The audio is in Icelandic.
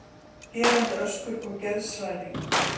Skerandi öskur og geðshræring.